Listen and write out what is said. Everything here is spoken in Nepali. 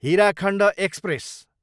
हीराखण्ड एक्सप्रेस